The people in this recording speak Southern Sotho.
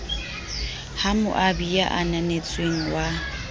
ho moabi ya ananetsweng wa